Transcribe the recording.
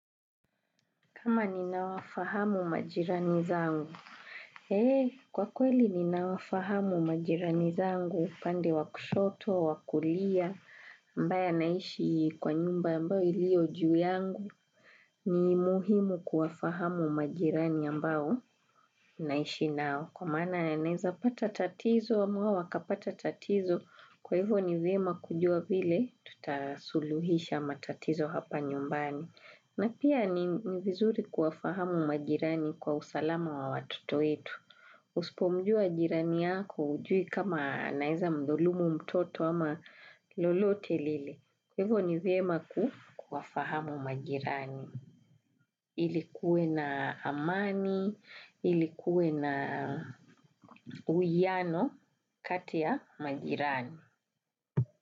Kama ninawafahamu majirani zangu. Kwa kweli ninawafahamu majirani zangu upande wa kushoto, wa kulia, ambaye anaishi kwa nyumba ambayo ilio juu yangu, ni muhimu kuwafahamu majirani ambao naishi nao. Kwa maana naeza pata tatizo, wa moyo akapata tatizo, kwa hivyo ni vyema kujua vile, tutasuluhisha matatizo hapa nyumbani. Na pia ni vizuri kuwafahamu majirani kwa usalama wa watoto wetu. Usipomjua jirani yako ujui kama anaeza mdhulumu mtoto ama lolote lile. Hivo ni vyema kuwafahamu majirani. Ili kuwe na amani, ili kuwe na uwiano kati ya majirani.